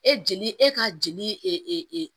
E jeli e ka jeli e e e e e